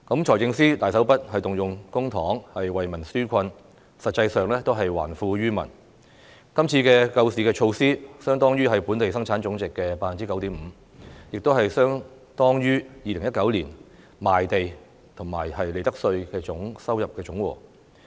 財政司司長大手筆動用公帑為民紓困，實際上也是還富於民，今次的救市措施，相當於本地生產總值的 9.5%， 也是相當於2019年賣地和利得稅的收入總和。